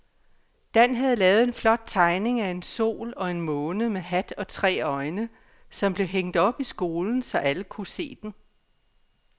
Dan havde lavet en flot tegning af en sol og en måne med hat og tre øjne, som blev hængt op i skolen, så alle kunne se den.